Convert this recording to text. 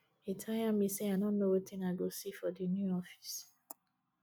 e tire me sey i no know wetin i go see for di new office